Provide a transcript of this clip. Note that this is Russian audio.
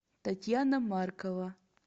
татьяна маркова